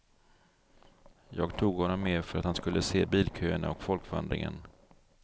Jag tog honom med för att han skulle se bilköerna och folkvandringen.